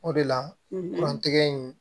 O de la kuran tɛgɛ in